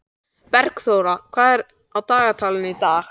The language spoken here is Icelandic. Bergþóra, hvað er á dagatalinu í dag?